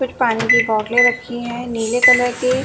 कुछ पानी की बोटले रखी हैं नीले कलर की।